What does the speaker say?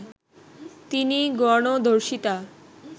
তিনি গণধর্ষিতা